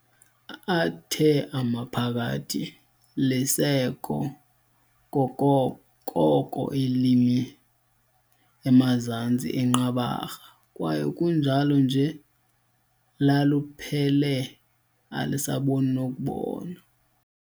Athe amaphakathi "Lisekho koko limi emazantsi eNqabarha, kwaye kunjalo nje laluphele alisaboni nokubona."